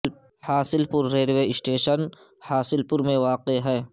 حاصل پور railway station Hasilpur میں واقع ہے